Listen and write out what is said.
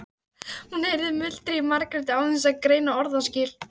Hún heyrði muldrið í Margréti án þess að greina orðaskil.